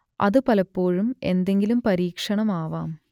അത് പലപ്പോഴും എന്തെങ്കിലും പരീക്ഷണം ആവാം